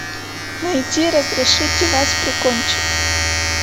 найти разрешите вас прикончить